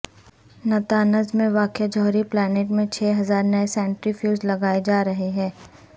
Natanz میں واقع جوہری پلانٹ میں چھ ہزار نئے سینٹریفیوج لگائے جا رہے ہیں